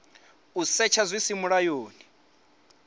u setsha hu si mulayoni